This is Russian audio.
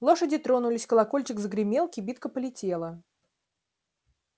лошади тронулись колокольчик загремел кибитка полетела